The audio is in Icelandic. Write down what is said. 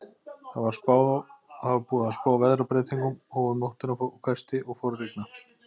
Það var búið að spá veðrabreytingum og um nóttina hvessti og fór að rigna.